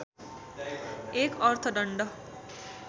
१ अर्थदण्ड